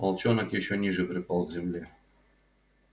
волчонок ещё ниже припал к земле